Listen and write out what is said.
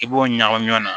I b'o ɲagami ɲɔgɔn na